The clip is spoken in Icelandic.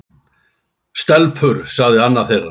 Stelpur sagði annar þeirra.